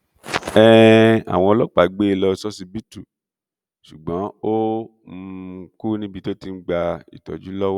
um àwọn ọlọpàá gbé e lọ ṣọsibítù ṣùgbọn ó um kù níbi tó ti ń gba ìtọjú lọwọ